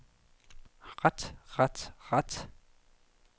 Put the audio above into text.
ret ret ret